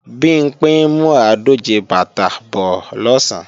Bimpé ń mú àádòje bàtà bọ́ọ̀ lọ̀sán